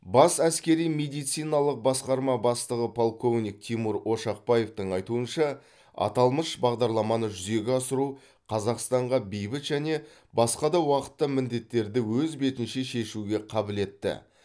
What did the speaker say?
бас әскери медициналық басқарма бастығы полковник тимур ошақбаевтың айтуынша аталмыш бағдарламаны жүзеге асыру қазақстанға бейбіт және басқа да уақытта міндеттерді өз бетінше шешуге қабілетті